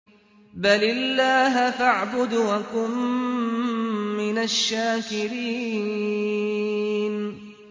بَلِ اللَّهَ فَاعْبُدْ وَكُن مِّنَ الشَّاكِرِينَ